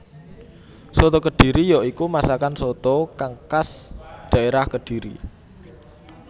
Soto kediri ya iku masakan soto kang khas dhaérah Kediri